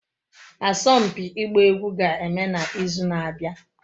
Asompi igba egwu ga-eme na izu na-abia